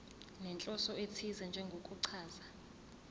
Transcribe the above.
nenhloso ethize njengokuchaza